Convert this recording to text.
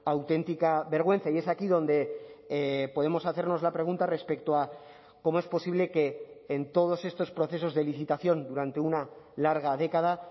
auténtica vergüenza y es aquí donde podemos hacernos la pregunta respecto a cómo es posible que en todos estos procesos de licitación durante una larga década